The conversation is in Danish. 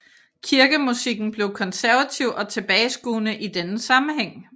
Kirkemusikken blev konservativ og tilbageskuende i denne sammenhæng